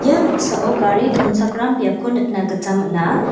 ia noksao gari donchakram biapko nikna gita man·a.